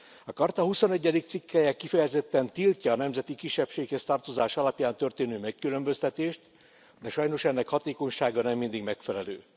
A Charta huszonegyedik cikkelye kifejezetten tiltja a nemzeti kisebbséghez tartozás alapján történő megkülönböztetést, de sajnos ennek hatékonysága nem mindig megfelelő.